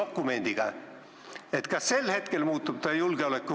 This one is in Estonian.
Kas ta muutub sel hetkel julgeolekuohuks?